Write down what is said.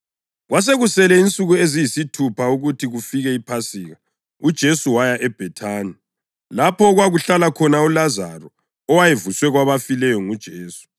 Kwasekusele insuku eziyisithupha ukuthi kufike iPhasika, uJesu waya eBhethani, lapho okwakuhlala khona uLazaro owayevuswe kwabafileyo nguJesu.